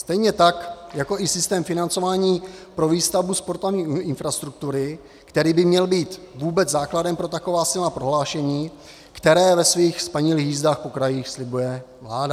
Stejně tak jako i systém financování pro výstavbu sportovní infrastruktury, který by měl být vůbec základem pro taková silná prohlášení, která ve svých spanilých jízdách po krajích slibuje vláda.